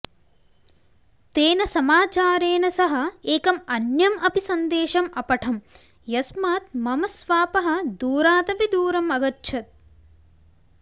तेन समाचारेण सह एकम् अन्यम् अपि सन्देशम् अपठं यस्मात् मम स्वापः दूरात् अपि दूरम् अगच्छत्